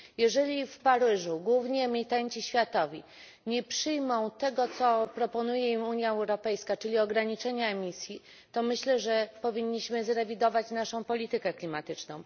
Jeżeli w Paryżu główni emitenci światowi nie przyjmą tego, co proponuje im Unia Europejska, czyli ograniczenia emisji, to myślę, że powinniśmy zrewidować naszą politykę klimatyczną.